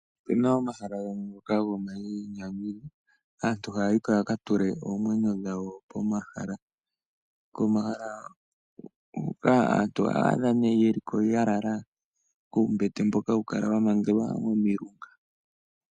Opu na omahala gamwe ngoka gomayinyanyudho, aantu haya yi ko ya ka tule oomwenyo dhawo pomahala. Komahala hoka aantu oho adha nduno ye li ko ya lala kuumbete mboka hawu kala wa mangelwa komilunga.